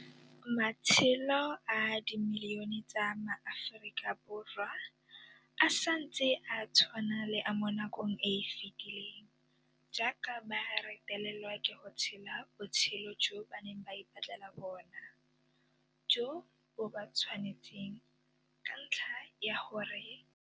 Matshelo a le dimilione tsa MaAforika Borwa a santse a tshwana le a mo nakong e e fetileng jaaka ba retelelwa ke go tshela botshelo jo ba neng ba ipatlela bona jo bo ba tshwanetseng ka ntlha ya fa ba sena ditiro, dintlo, motlakase kgotsa metsi a dipompo, jaaka ba sena lefatshe, bokgoni kgotsa ditšhono.